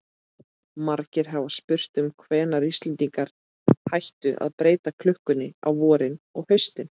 Margir hafa spurt um hvenær Íslendingar hættu að breyta klukkunni á vorin og haustin.